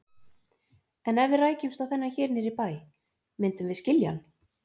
En ef við rækjumst á þennan hér niðri í bæ, myndum við skilja hann?